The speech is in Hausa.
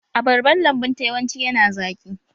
Abarban lambun ta yawanci yana zaƙi